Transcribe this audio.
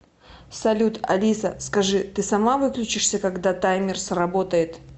салют алиса скажи ты сама выключишься когда таймер сработает